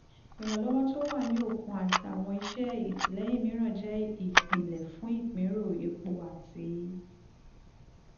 ìrànlọ́wọ́ tó wà ní òkun àti àwọn iṣẹ́ ìtìlẹ́yìn mìíràn jẹ́ ìpìlẹ̀ fún ìpínrọ̀ epo àti